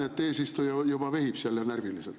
… aga ma näen, et eesistuja juba vehib seal närviliselt.